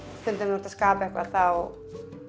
þú ert að skapa eitthvað þá